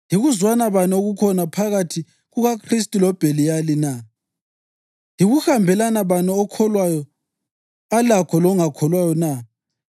Yikuzwana bani okukhona phakathi kukaKhristu loBheliyali na? Yikuhambelana bani okholwayo alakho longakholwayo na?